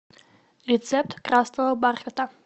рецепт красного бархата